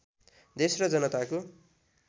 देश र जनताको